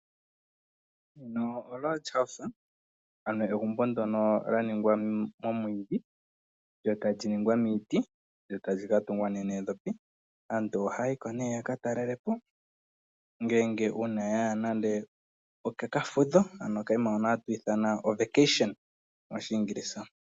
Egumbo ndyono lya ningwa momwiidhi lyo tali ningwa miiti lyo tali katungwa noondhopi aantu ohaya yiko ne yaka talelepo uuna yaya kokafudho.